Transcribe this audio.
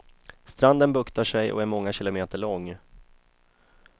Stranden buktar sig och är många kilometer lång.